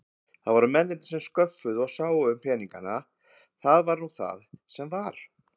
Það voru mennirnir sem sköffuðu og sáu um peningana, það var nú það sem var.